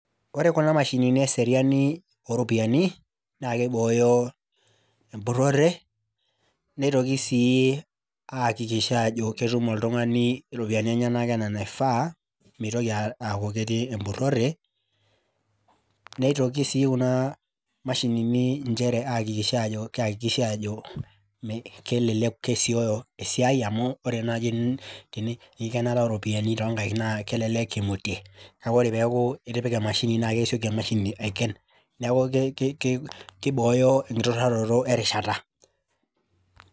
Ore kunamashinini eseriani oropiyani nakibooyo empurore nitoki sii ai hakikisha ajo ketukum oltungani iropiyiani enyenaka anaa anaifaa mitoki atii empurore , nitoki si kuna mashinini nchere ai hakikisha ajo kei hakikisha ajo kelelek kesioyo esiai amu ore enkikenata oropiyani na kelelek imutie Neaku ore peaku itipika emashini na kesieki emashini aiken neaku kibooyo enturayioto erishata.